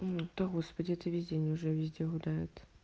да господи эта весь день уже везде гуляют